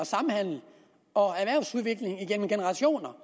samhandel og erhvervsudvikling igennem generationer